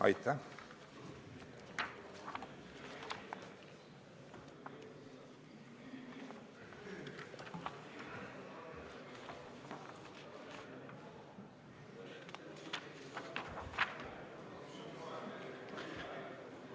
Aitäh!